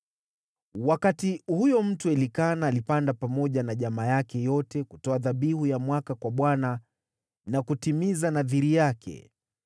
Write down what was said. Wakati huyo mtu Elikana alipanda pamoja na jamaa yake yote kutoa dhabihu ya mwaka kwa Bwana na kutimiza nadhiri yake,